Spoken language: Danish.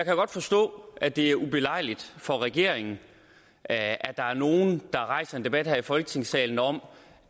godt forstå at det er ubelejligt for regeringen at at der er nogle der rejser en debat her i folketingssalen om